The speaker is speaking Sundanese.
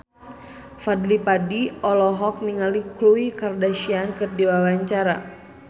Fadly Padi olohok ningali Khloe Kardashian keur diwawancara